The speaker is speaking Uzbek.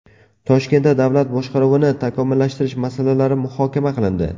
Toshkentda davlat boshqaruvini takomillashtirish masalalari muhokama qilindi.